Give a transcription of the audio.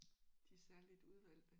De særligt udvalgte?